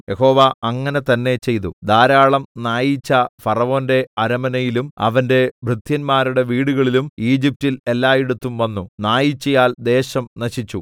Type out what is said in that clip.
യഹോവ അങ്ങനെ തന്നെ ചെയ്തു ധാരാളം നായീച്ച ഫറവോന്റെ അരമനയിലും അവന്റെ ഭൃത്യന്മാരുടെ വീടുകളിലും ഈജിപ്റ്റിൽ എല്ലായിടത്തും വന്നു നായീച്ചയാൽ ദേശം നശിച്ചു